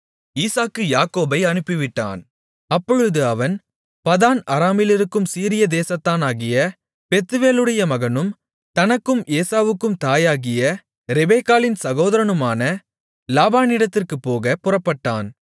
ஈசாக்கு யாக்கோபை அனுப்பிவிட்டான் அப்பொழுது அவன் பதான் அராமிலிருக்கும் சீரியா தேசத்தானாகிய பெத்துவேலுடைய மகனும் தனக்கும் ஏசாவுக்கும் தாயாகிய ரெபெக்காளின் சகோதரனுமான லாபானிடத்திற்குப் போகப் புறப்பட்டான்